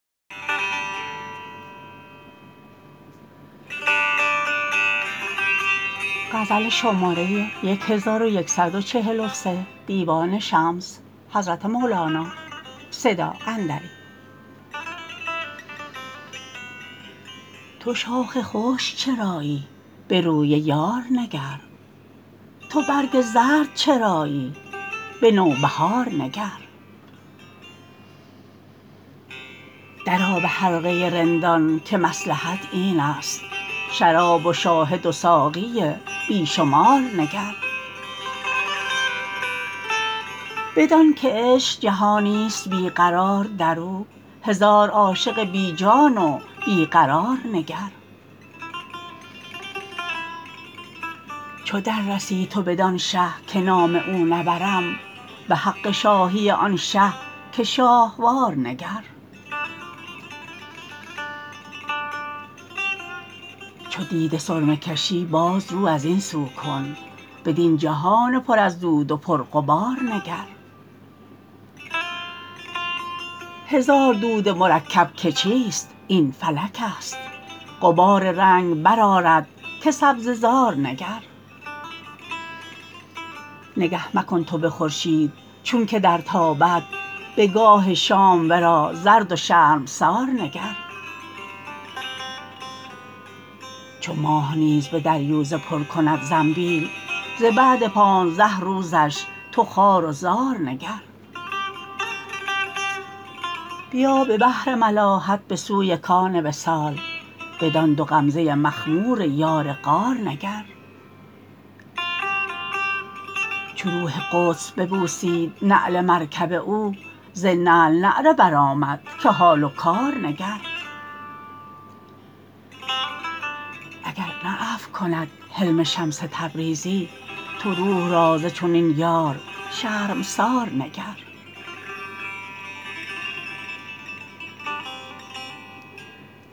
تو شاخ خشک چرایی به روی یار نگر تو برگ زرد چرایی به نوبهار نگر درآ به حلقه رندان که مصلحت اینست شراب و شاهد و ساقی بی شمار نگر بدانک عشق جهانی است بی قرار در او هزار عاشق بی جان و بی قرار نگر چو دررسی تو بدان شه که نام او نبرم به حق شاهی آن شه که شاهوار نگر چو دیده سرمه کشی باز رو از این سو کن بدین جهان پر از دود و پرغبار نگر هزار دود مرکب که چیست این فلکست غبار رنگ برآرد که سبزه زار نگر نگه مکن تو به خورشید چونک درتابد به گاه شام ورا زرد و شرمسار نگر چو ماه نیز به دریوزه پر کند زنبیل ز بعد پانزده روزش تو خوار و زار نگر بیا به بحر ملاحت به سوی کان وصال بدان دو غمزه مخمور یار غار نگر چو روح قدس ببوسید نعل مرکب او ز نعل نعره برآمد که حال و کار نگر اگر نه عفو کند حلم شمس تبریزی تو روح را ز چنین یار شرمسار نگر